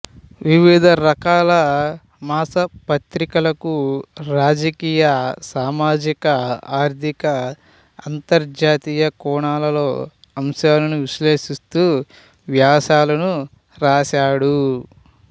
వివిధ రకాల మాస పత్రికలకు రాజకీయ సామాజిక ఆర్థిక అంతర్జాతీయ కోణాల్లో అంశాలను విశ్లేషిస్తూ వ్యాసాలను రాసాడు